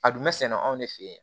A dun bɛ sɛnɛ anw ne fɛ yen